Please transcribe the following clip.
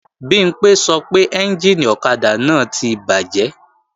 Bimpé sọ pé ẹ́njìnì ọ̀kadà náà ti bàjẹ́